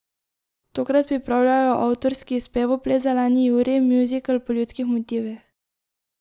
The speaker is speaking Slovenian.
Tokrat pripravljajo avtorski spevoples Zeleni Jurij, muzikal po ljudskih motivih.